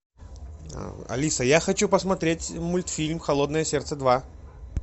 алиса я хочу посмотреть мультфильм холодное сердце два